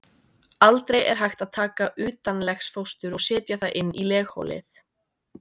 Aldrei er hægt að taka utanlegsfóstur og setja það inn í legholið.